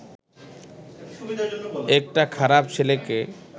একটা খারাপ ছেলেকে